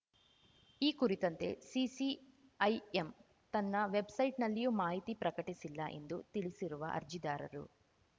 ಈ ಕುರಿತಂತೆ ಸಿಸಿಐಎಂ ತನ್ನ ವೆಬ್‌ಸೈಟ್‌ನಲ್ಲಿಯೂ ಮಾಹಿತಿ ಪ್ರಕಟಿಸಿಲ್ಲ ಎಂದು ತಿಳಿಸಿರುವ ಅರ್ಜಿದಾರರು